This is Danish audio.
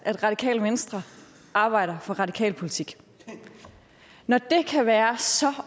at radikale venstre arbejder for radikal politik når det kan være så